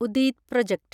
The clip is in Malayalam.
ഉദീദ് പ്രോജക്ട്